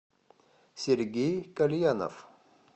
сергей кальянов